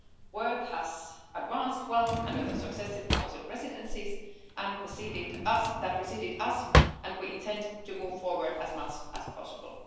Work has advanced well under the successive Council presidencies that preceded us, and we intend to move forward as much as possible.